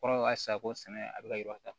Kɔrɔ ka sako sɛnɛ a bɛ ka ta